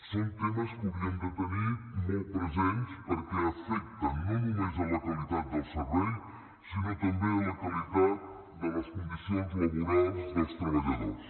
són temes que hauríem de tenir molt presents perquè afecten no només la qualitat del servei sinó també la qualitat de les condicions laborals dels treballadors